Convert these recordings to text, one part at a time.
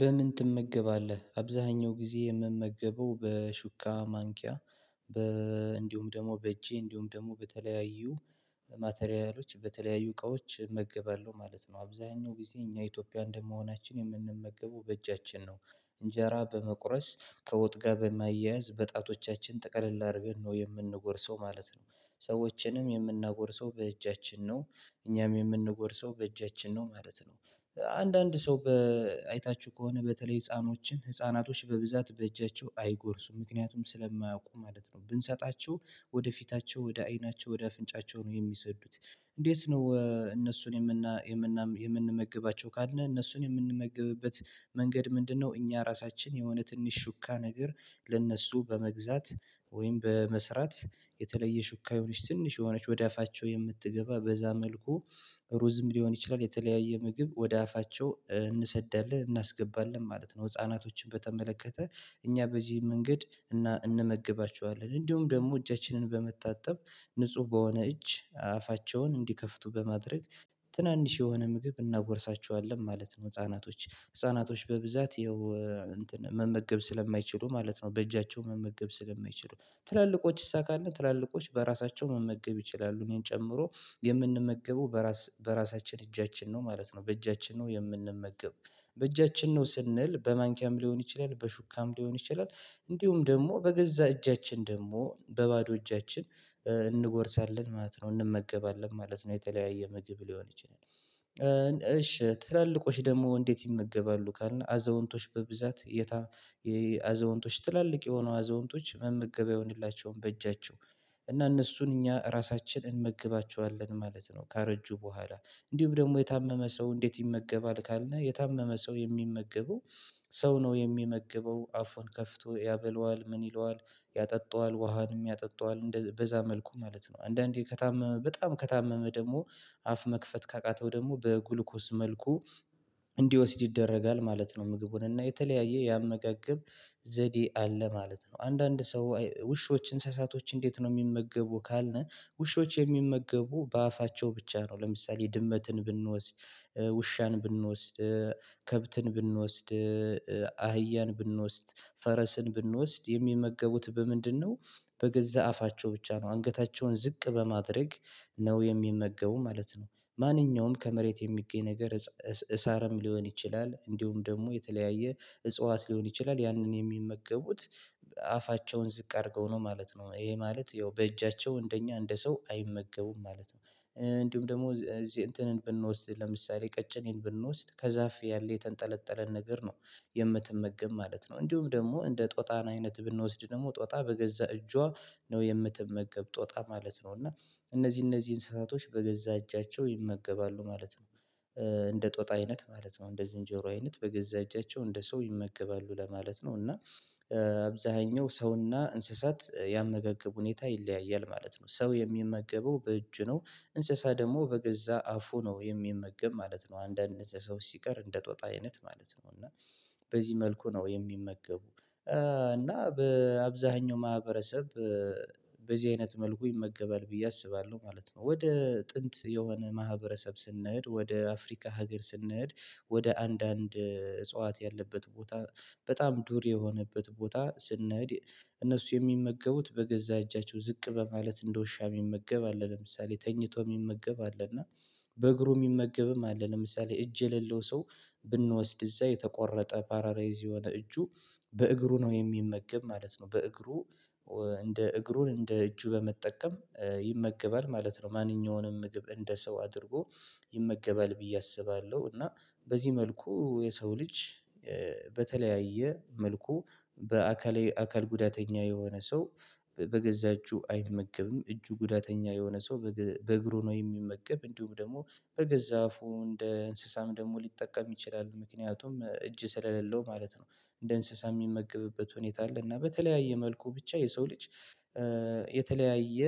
በምን ትመገባለህ? አብዛኛው ጊዜ የምመገበው በሹካ፣ ማንኪያ በ እንዲሁም ደግሞ በእጄ እንዲሁም ደግሞ በተለያዩ ማቴሪያሎች በተለያዩ እቃዎች እመገባለሁ ማለት ነው። አብዛኛው ጊዜ እኛ ኢትዮጵያ እንደመሆናችን የምንመገበው በእጃችን ነው እንጀራ በመቁረስ ከወጥ ጋር በማያያዝ በጣቶቻችን ጠቅልል አድርገን ነው የምንጎርሰው ማለት ነው። ሰዎችንም የምናጎርሰው በእጃችን ነው። እኛም የምንጎርሰው በእጃችን ነው ማለት ነው። አንዳንድ ሰው በአይታችሁ ከሆነ በተለይ ህፃኖችን ህፃናቶች በብዛት በእጃቸው አይጎርሱም ምክንያቱም ስለማያውቁ ማለት ነው ብንሰጣቸው ወደፊታቸው ወደ አይናቸው ወደ አፍንጫቸው ነው የሚሰዱት እንዴት ነው እነሱን የምንመግባቸው ካልነህ እነሱን የምንመገብበት መንገድ ምንድነው እኛ ራሳችን የሆነ ትንሽ ሹካ ነገር ለእነሱ በመግዛት ወይም በመስራት የተለየ ሹካ የሆነች ትንሽ የሆነች ወደ አፋቸው የምትገባ በዛ መልኩ ሩዝም ሊሆን ይችላል፣ የተለያየ ምግብ ወደ አፋቸው እንሰዳለን እናስገባለን ማለት ነው። ህፃናቶችን በተመለከተ እኛ በዚህ መንገድ እና እንመግባቸዋለን እንዲሁም ደግሞ እጃችንን በመጣጠብ ንጹህ በሆነ እጅ አፋቸውን እንዲከፍቱ በማድረግ ትናንሽ የሆነ ምግብ እናጎርሳቸዋለን ማለት ነው ህፃናቶችን ህፃናቶች በብዛት ይኸው መመገብ ስለማይችሉ ማለት ነው በእጃቸው መመገብ ስለማይችሉ፣ ትላልቆች እሳ ካልን ትላልቆች በራሳቸው መመገብ ይችላሉ እኔን ጨምሮ የምንመገበው በራስ በራሳችን እጃችን ነው ማለት ነው በእጃችን ነው የምንመገበው በእጃችን ነው ስንል በማንኪያም ሊሆን ይችላል በሹካም ሊሆን ይችላል እንዲሁም ደግሞ በገዛ እጃችን ደግሞ በባዶ እጃችን እንጎርሳለን ማለት ነው፣ እንመገባለን ማለት ነው የተለያየ ምግብ ሊሆን ይችላል፣ እሺ ትላልቆች ደግሞ እንዴት ይመገባሉ ካልና አዛውንቶች በብዛት የታ የአዛውንቶች ትላልቅ የሆኑ አዘውንቶች መመገቢያ አይሆንላቸውም በእጃቸው እና እነሱን እኛ ራሳችን እንመግባቸዋለን ማለት ነው ካረጁ በኋላ እንዲሁም ደግሞ የታመመ ሰው እንዴት ይመገባል ካልነ የታመመ ሰው የሚመገበው ሰው ነው የሚመገበው አፏን ከፍቶ ያበለዋል፣ ምን ይለዋል፣ ያጠጣዋል ውሃንም ያጠጣዋል፣ በዛ መልኩ ማለት ነው አንዳንዴ ከታመመ በጣም ከታመመ ደግሞ አፍ መክፈት ካቃተው ደግሞ በግሉኮስ መልኩ እንዲወስድ ይደረጋል ማለት ነው ምግቡን እና የተለያየ ያመቀቅብ ዘዴ አለ ማለት ነው። አንዳንድ ሰው ውሾች፣ እንስሳቶች እንዴት ነው የሚመገቡ ካልነ ውሾች የሚመገቡ በአፋቸው ብቻ ነው ለምሳሌ ድመትን ብንወስድ፣ ውሻን ብንወስድ፣ ከብትን ብንወስድ፣ አህያን ብንወስድ፣ ፈረስን ብንወስድ የሚመገቡት በምንድነው በገዛ አፋቸው ብቻ ነው አንገታቸውን ዝቅ በማድረግ ነው የሚመገቡ ማለት ነው። ማንኛውም ከመሬት የሚገኝ ነገር እሳርም ሊሆን ይችላል እንዲሁም ደግሞ የተለያየ እጽዋት ሊሆን ይችላል ያንን የሚመገቡት አፋቸውን ዝቅ አድርገው ነው ማለት ነው ይሄ ማለት ያው በእጃቸው እንደኛ እንደ ሰው አይመገቡም ማለት ነው እንዲሁም ደግሞ እዚህ እንትን ብንወስድ ለምሳሌ ቀጭኔን ብንወስድ ከዛፍ ያለ የተንጠለጠለን ነገር ነው የምትመገብ ማለት ነው እንዲሁም ደግሞ እንደ ጦጣን አይነት ብንወስድ ደግሞ ጦጣ በገዛ እጇ ነው የምትመገብ ጦጣ ማለት ነው እና እነዚህ እነዚህ እንስሳቶች በገዛ እጃቸው ይመገባሉ ማለት ነው። እንደ ጦጣ አይነት ማለት ነው እንደ ዝንጀሮ አይነት በገዛ እጃቸው እንደ ሰው ይመገባሉ ለማለት ነው እና አብዛኛው ሰውና እንስሳት ያመገገቡ ሁኔታ ይለያያል ማለት ነው። ሰው የሚመገበው በእጅ ነው እንስሳ ደግሞ በገዛ አፉ ነው የሚመገብ ማለት ነው አንዳንድ እንደዚህ ሰው ሲቀር እንደ ጦጣ አይነት ማለት ነው እና በዚህ መልኩ ነው የሚመገቡ እና በአብዛኛው ማህበረሰብ በዚህ አይነት መልኩ ይመገባል ብዬ አስባለሁ ማለት ነው። ወደ ጥንት የሆነ ማህበረሰብ ስንሄድ ወደ አፍሪካ ሀገር ስንሄድ ወደ አንዳንድ እጽዋት ያለበት ቦታ በጣም ዱር የሆነበት ቦታ ስንሄድ እነሱ የሚመገቡት በገዛ እጃቸው ዝቅ በማለት እንደውሻ የሚመገብ አለ ለምሳሌ ተኝቶ የሚመገብ አለ እና በእግሩ የሚመገብም አለ ለምሳሌ እጅ የሌለው ሰው ብንወስድ እዛ የተቆረጠ ባራላይዝ የሆነ እጁ በእግሩ ነው የሚመገብ ማለት ነው በእግሩ እንደ እግሩን እንደ እጁ በመጠቀም ይመገባል ማለት ነው ማንኛውንም ምግብ እንደ ሰው አድርጎ ይመገባል ብዬ አስባለሁ እና በዚህ መልኩ የሰው ልጅ በተለያየ መልኩ በአካል አካል ጉዳተኛ የሆነ ሰው በገዛ እጁ አይመገብም እጁ ጉዳተኛ የሆነ ሰው በእግሩ ነው የሚመገብ እንዲሁም ደግሞ በገዛ አፉ እንደ እንስሳም ደግሞ ሊጠቀም ይችላል ምክንያቱም እጅ ስለሌለው ማለት ነው እንደ እንስሳ የሚመገብበት ሁኔታ አለ እና በተለያየ መልኩ ብቻ የሰው ልጅ የተለያየ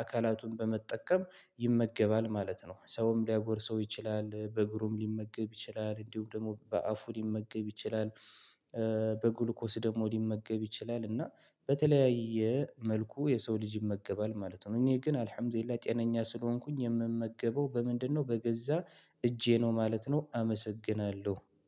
አካላቱን በመጠቀም ይመገባል ማለት ነው። ሰውም ሊያጎርሰው ይችላል፣ በግሩም ሊመገብ ይችላል፣ እንዲሁ ደግሞ በአፉ ሊመገብ ይችላል፣ በጉልኮስ ደግሞ ሊመገብ ይችላል እና በተለያየ መልኩ የሰው ልጅ ይመገባል ማለት ነው እኔ ግን አልሀም ዱሊላህ ጤነኛ ስለሆንኩኝ የምመገበው በምንድነው በገዛ እጄ ነው ማለት ነው አመሰግናለሁ።